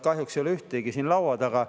Kahjuks ei ole ühtegi nüüd siin laua taga.